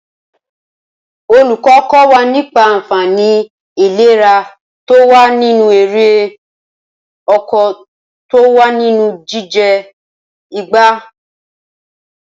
Olùkọ́ kọ́ wa nípa ànfàní ìléra to wa nínú erè oko to wá nínú jíjẹ ìgbá